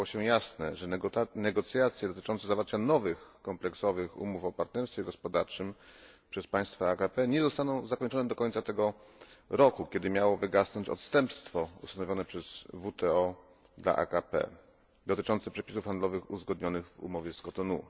stało się jasne, że negocjacje dotyczące zawarcia nowych kompleksowych umów o partnerstwie gospodarczym przez państwa AKP nie zostaną zakończone do końca tego roku, kiedy miało wygasnąć odstępstwo ustanowione przez WTO dla AKP dotyczące przepisów handlowych uzgodnionych w umowie z Kotonu.